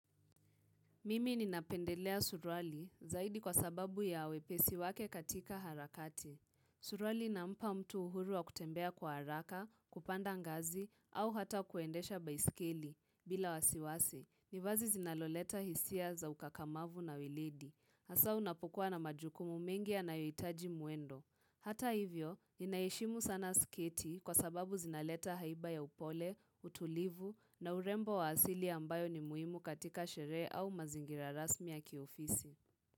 Mimi ninapendelea suruali zaidi kwa sababu ya wepesi wake katika harakati. Suruali inampa mtu uhuru wa kutembea kwa haraka, kupanda ngazi, au hata kuendesha baisikili. Bila wasiwasi. Ni vazi zinaloleta hisia za ukakamavu na wilidi. Hasa unapokua na majukumu mengi yanayohitaji mwendo. Hata hivyo, ninaheshimu sana sketi kwa sababu zinaleta haiba ya upole, utulivu na urembo wa asili ambayo ni muhimu katika sherehe au mazingira rasmi ya kiofisi.